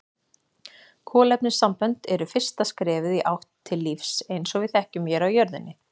Kolefnissambönd eru fyrsta skrefið í átt til lífs eins og við þekkjum hér á jörðinni.